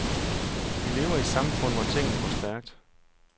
Vi lever i et samfund, hvor tingene går stærkt.